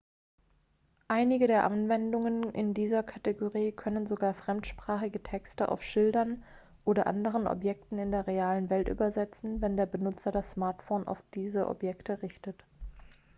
einige der anwendungen in dieser kategorie können sogar fremdsprachige texte auf schildern oder anderen objekten in der realen welt übersetzen wenn der benutzer das smartphone auf diese objekte richtet